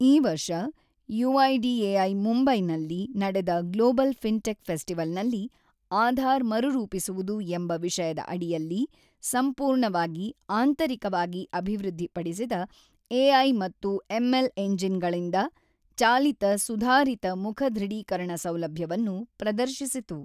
ಈ ವರ್ಷ ಯುಐಡಿಎಐ ಮುಂಬೈನಲ್ಲಿ ನಡೆದ ಗ್ಲೋಬಲ್ ಫಿನ್ಟೆಕ್ ಫೆಸ್ಟಿವಲ್ ನಲ್ಲಿ ಆಧಾರ್ ಮರುರೂಪಿಸುವುದು ಎಂಬ ವಿಷಯದ ಅಡಿಯಲ್ಲಿ ಸಂಪೂರ್ಣವಾಗಿ ಆಂತರಿಕವಾಗಿ ಅಭಿವೃದ್ಧಿಪಡಿಸಿದ ಎಐ ಮತ್ತು ಎಂಎಲ್ ಎಂಜಿನ್ ಗಳಿಂದ ಚಾಲಿತ ಸುಧಾರಿತ ಮುಖ ದೃಢೀಕರಣ ಸೌಲಭ್ಯವನ್ನು ಪ್ರದರ್ಶಿಸಿತು.